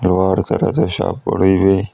ಹಲವಾರು ತರದ ಶಾಪ್ ಗಳು ಇವೆ.